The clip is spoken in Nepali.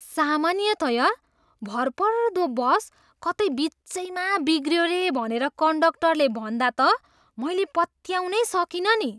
सामान्यतया भरपर्दो बस कतै बिचैमा बिग्रियो रे भनेर कन्डक्टरले भन्दा त मैले पत्याउनै सकिनँ नि!